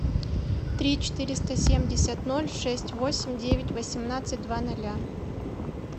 три четыреста семьдесят ноль шесть восемь девять восемнадцать два ноля